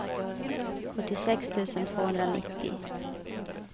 sjuttiosex tusen tvåhundranittio